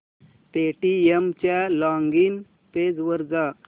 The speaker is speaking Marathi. पेटीएम च्या लॉगिन पेज वर जा